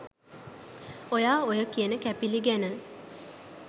ඔයා ඔය කියන කැපිලි ගැන